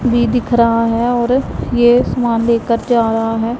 भी दिख रहा है और ये समान लेकर जा रहा है।